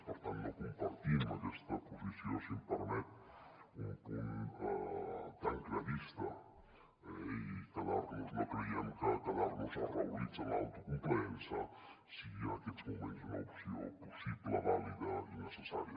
per tant no compartim aquesta posició si em permet un punt tancredista i no creiem que quedar·nos arraulits en l’autocomplaença sigui en aquests moments una opció possible vàlida i necessària